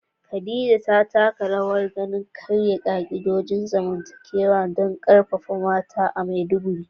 Khadija ta taka rawar gani wajen karya ka'idojin zamantakewa don karfafa mata a Maiduguri.